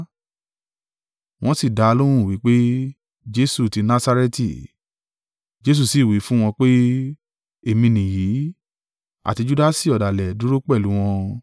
Wọ́n sì dá a lóhùn wí pé, “Jesu ti Nasareti.” Jesu sì wí fún wọn pé, “Èmi nìyí.” (Àti Judasi ọ̀dàlẹ̀, dúró pẹ̀lú wọn).